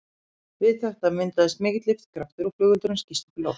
Við þetta myndast mikill lyftikraftur og flugeldurinn skýst upp í loft.